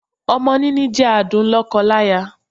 Ọmọ níní jẹ́ adùn lọ́kọ láya.